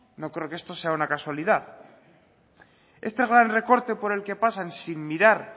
no creo que esto sea una casualidad este gran recorte por el que pasan sin mirar